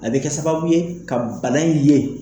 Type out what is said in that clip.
A bE kɛ sababu ye ka bala in ye.